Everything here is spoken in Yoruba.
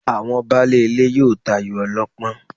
Àwọn baálé ilé yóò tayò ọlọ́pọ́n